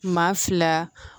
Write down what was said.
Maa fila